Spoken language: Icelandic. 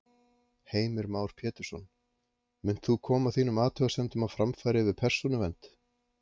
Heimir Már Pétursson: Munt þú koma þínum athugasemdum á framfæri við Persónuvernd?